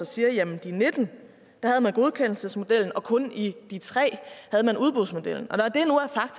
siger at i de nitten havde man godkendelsesmodellen og kun i de tre havde man udbudsmodellen